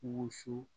Wusu